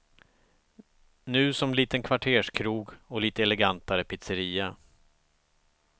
Nu som liten kvarterskrog och lite elegantare pizzeria.